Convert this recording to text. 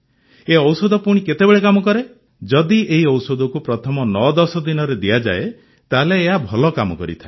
ଏ ଔଷଧ ପୁଣି କେତେବେଳେ କାମ କରେ ଯଦି ଏହି ଔଷଧକୁ ପ୍ରଥମ ୯୧୦ ଦିନରେ ଦିଆଯାଏ ତାହେଲେ ଏହା ଭଲ କାମ କରିଥାଏ